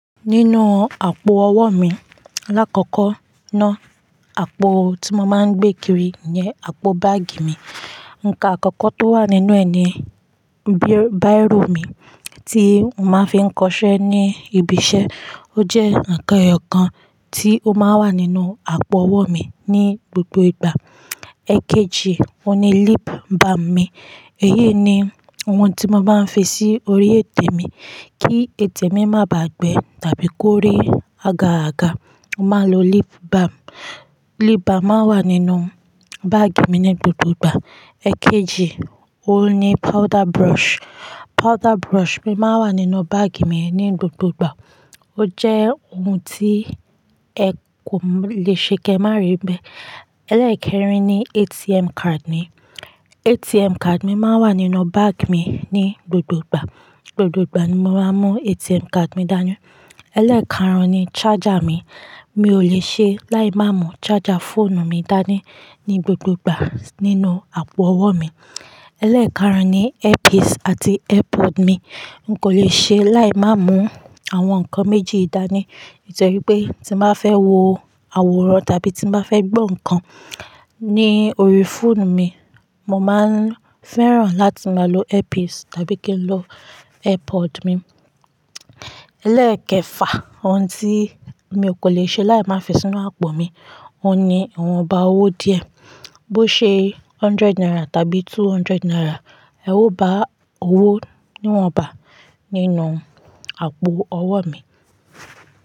Nínú àpò ọwọ́ mi, alákọkọ náà àpò tí mo máa ń gbé kiri ni àpò báàgì mi. Ǹkan àkọ́kọ́ tó wà nínú ẹni bíi báìrò mi tí mo máa ń fi ń kọṣẹ́ ní ibi iṣẹ́, ó jẹ́ ǹkan eyo kan tí ó máa ń wà nínú àpò ọwọ́ mi ní gbogbo ìgbà. Èkejì, o ni lip balm mi. Eyé ni ohun tí mo máa ń fi sí orí ètè mi kí ètè mi má bà á gbẹ́ tàbí kó rí aga aga. Mo máa ń lo lip balm. Lip balm máa ń wà nínú báàgì mi ní gbogbo ìgbà. Èkejì, o ni powder brush. Powder brush mi máa ń wà nínú báàgì mi ní gbogbo ìgbà. Ó jẹ́ ohun tí ẹ kò lè ṣe kí a má rí i bẹ́. Ẹlẹ́ẹ̀kẹrin ni ATM card mi. ATM card mi máa ń wà nínú báàgì mi ní gbogbo ìgbà. Gbogbo ìgbà ni mo máa ń mú ATM card mi dání. Ẹlẹ́ẹ̀kànrun ni charger mi. Mi ò lè ṣe láì má mú charger fóònù mi dání ní gbogbo ìgbà nínú àpò ọwọ́ mi. Ẹlẹ́ẹ̀kànrun ni earpiece àti airpod mi. N kò lè ṣe láì má mú àwọn ǹkan méjì yìí dání. Nitoripé tí mo bá fẹ́ wo àwòrán tàbí tí mo bá fẹ́ gbọ́ ǹkan ní orí fóònù mi, mo máa ń fẹ́ràn láti máa lo earpiece tàbí kí n lo airpod mi. Ẹlẹ́ẹ̀kẹfà ohun tí mi ò kò lè ṣe láì má fi sínú àpò mi ohun ni iwọn bàa owó díẹ̀. Bó ṣe hundred naira tàbí two hundred naira. Ẹ ò bá owó níwọn bà nínú àpò ọwọ́ mi.